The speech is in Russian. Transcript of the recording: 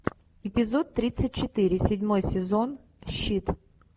эпизод тридцать четыре седьмой сезон щит